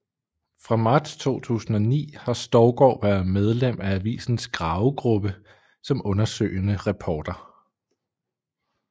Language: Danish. Fra marts 2009 har Stougaard været medlem af avisens Gravegruppe som undersøgende reporter